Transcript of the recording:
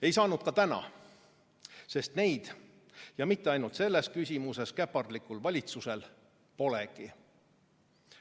Ei saanud ka täna, sest neid – ja mitte ainult selles küsimuses käpardlikul valitsusel – polegi.